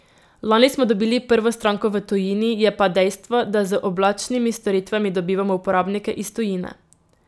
Lani smo dobili prvo stranko v tujini, je pa dejstvo, da z oblačnimi storitvami dobivamo uporabnike iz tujine.